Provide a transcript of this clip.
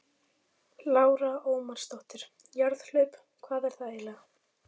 Lára Ómarsdóttir: Jarðhlaup, hvað er það eiginlega?